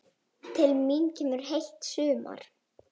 Til mín kemur heilt sumar.